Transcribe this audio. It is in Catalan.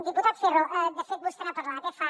diputat ferro de fet vostè n’ha parlat eh fa